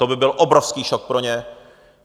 To by byl obrovský šok pro ně.